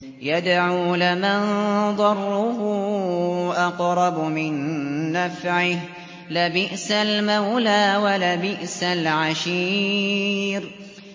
يَدْعُو لَمَن ضَرُّهُ أَقْرَبُ مِن نَّفْعِهِ ۚ لَبِئْسَ الْمَوْلَىٰ وَلَبِئْسَ الْعَشِيرُ